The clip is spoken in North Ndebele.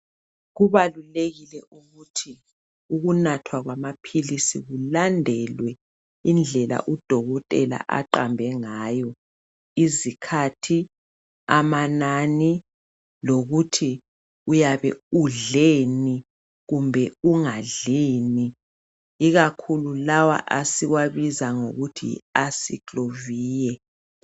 Kubalulekile ukuthi ukunathwa kwaphilisi kulandelwe indlela udokotela aqambe ngayo izikhathi amanani lokuthi uyabe undleni kumbe ungadlini ikakhulu lawa esiwabiza ngokuthi Acyclovir